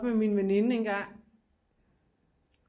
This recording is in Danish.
Oppe med min veninde engang